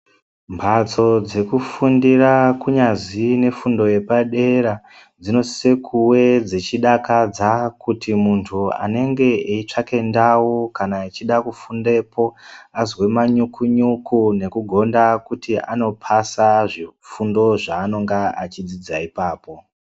Mhatso dzekufundira kunyazi nefundo yepadera dzinosise kuve dzichidakadza kuti muntu anenge eitsvake ndau kana achide kufundepo azwe manyuku- nyuku nekugonda kuti anopasa zvifundo zvanenge achidzidza ipapo.